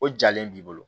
O jalen b'i bolo